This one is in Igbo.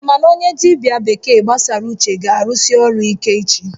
Ee, mana onye dibia bekee gbasara uche ga-arụsi ọrụ ike echi